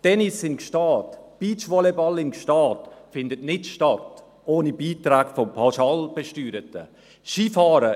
Tennis in Gstaad, Beachvolleyball in Gstaad: findet ohne Beiträge von Pauschalbesteuerten nicht statt.